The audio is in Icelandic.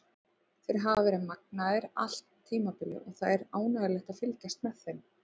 Þeir hafa verið magnaðir allt tímabilið og það er ánægjulegt að fylgjast með þeim.